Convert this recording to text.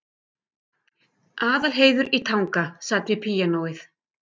Aðalheiður í Tanga sat við píanóið.